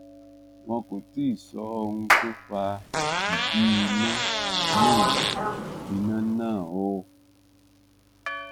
wọn kò tí ì sọ ohun tó fa ìdí iná náà iná náà o